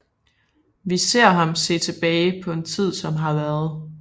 Vi ser ham se tilbage på en tid som har været